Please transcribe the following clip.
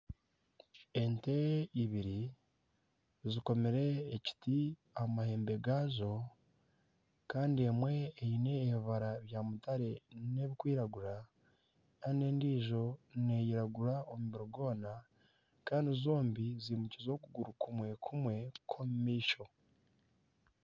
Ente ibiri zikomire ekiti aha muhembe gaazo kandi emwe eine ebibara bya mutare n'ebirikwiragura kandi endiijo neeyiragura omubiri gwona kandi zombi zimukiize okuguru kumwe kumwe kw'omu maisho